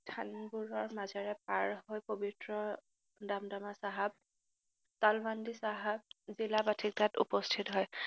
ধানবোৰৰ মাজেৰে পাৰহৈ পৱিত্ৰ দামদামা চাহাব, তালমান্দি চাহাব, জিলা বাথিন্দাত উপস্থিত হয়।